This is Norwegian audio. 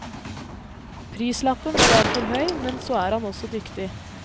Prislappen er derfor høy, men så er han også dyktig.